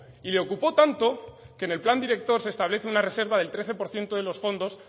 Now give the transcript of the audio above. y le ocupó tanto que en el plan director se establece una reserva del trece por ciento de los fondos